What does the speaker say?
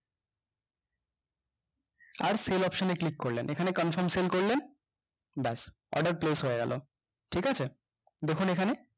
আর sell option এ click করলেন এখানে confirm sell করলেন bas order close হয়ে গেলো ঠিকাছে দেখুন এখানে